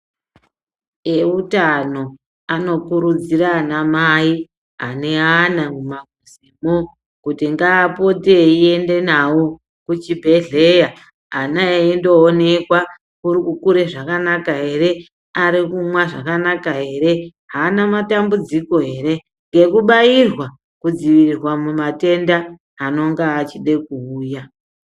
Eutano anokurudzira anamai ane ana muma muzi mo kuti ngapote eiende nawo kuchibhedhlera ana eindoonekwa urikukure zvakanaka ere, arikumwa zvakanaka here, hana matambudziko here nekubayirwa kudzivirirwa mumatenda anonga achide kuuya.